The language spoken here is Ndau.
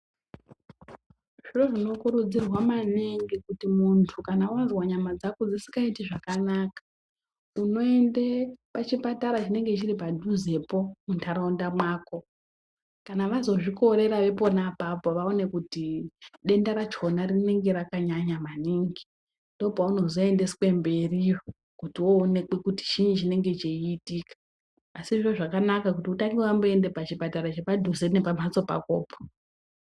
Zviro zvinokurudzirwa maningi kuti muntu kana wazwa nyama dzako dzisingaiti zvakanaka unoende pachipatara chinenge chiripadhuzepo munharaunda mwako kana vazozvikorera vepona apapo vaone kuti denda racho rinenge rakanyanya maningi ndipo paunozoendeswe mberi kuti woonekwe kuti chiinyi chinenge cheitika asi zviro zvakanaka kuti utange wamboenda pachipatara chepadhuze nepamhatso pakopo.